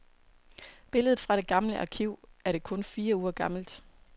Billedet fra det gamle arkiv, er det kun fire uger gammelt.